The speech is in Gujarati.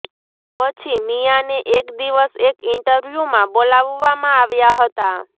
પછી મીયાને એક દિવસ એક ઈન્ટરવ્યૂમાં બોલાવવા માં આવ્યા હતા